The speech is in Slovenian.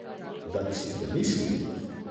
Da bi si premislil?